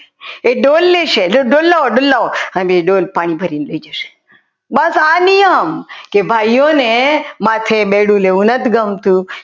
એ ડોલે લેશે એ ડોલ લાવો ડોલ લાવો અને એ ડોલ પાણી ભરીને લઈ જશો બસ આ નિયમ કે ભાઈઓને માથે બેડું લેવું નથી ગમતું